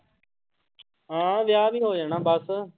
ਹਾਂ ਵਿਆਹ ਵੀ ਹੋ ਜਾਣਾ ਬਸ।